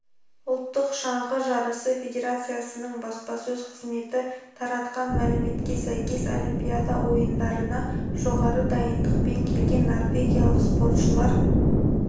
ұлттық шаңғы жарысы федерациясының баспасөз қызметі таратқан мәліметке сәйкес олимпиада ойындарына жоғары дайындықпен келген норвегиялық спортшылар